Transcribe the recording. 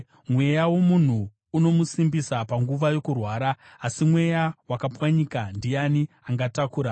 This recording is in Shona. Mweya womunhu unomusimbisa panguva yokurwara, asi mweya wakapwanyika ndiani angautakura?